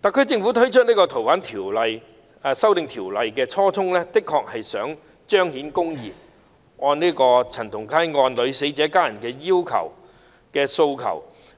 特區政府提出修訂《逃犯條例》的初衷，的確是為了彰顯公義，按陳同佳案女死者家人的訴求，